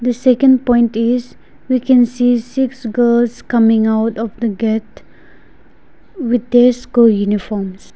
second point is we can see six girls coming out of the gate with their school uniforms.